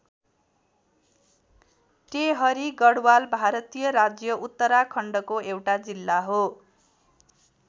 टेहरी गढवाल भारतीय राज्य उत्तराखण्डको एउटा जिल्ला हो।